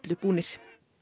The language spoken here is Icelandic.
búnir